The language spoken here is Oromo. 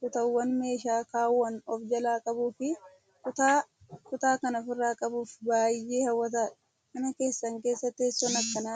kutaawwan meeshaa kaawwan of jalaa qabuu fi kutaa kutaa kan ofirraa qabuu fi baay'ee hawwataadha. Mana keessan keessa teessoon akkanaa jiraa?